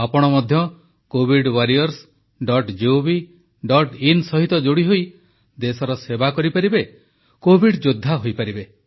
ଆପଣ ମଧ୍ୟ covidwarriorsgovin ସହିତ ଯୋଡ଼ିହୋଇ ଦେଶର ସେବା କରିପାରିବେ କୋଭିଡ ଯୋଦ୍ଧା ହୋଇପାରିବେ